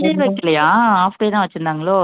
full day வைக்கலையா half day தான் வச்சிருந்தாங்களோ ஓ